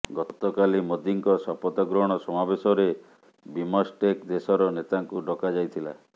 ଗତକାଲି ମୋଦିଙ୍କ ଶପଥ ଗ୍ରହଣ ସମାବେଶରେ ବିମଷ୍ଟେକ୍ ଦେଶର ନେତାଙ୍କୁ ଡକାଯାଇଥିଲା